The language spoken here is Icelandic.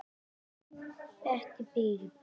Bettý býr í blokk.